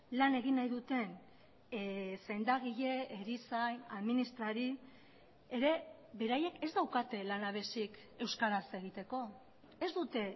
lan egin nahi duten sendagile erizain administrari ere beraiek ez daukate lanabezik euskaraz egiteko ez dute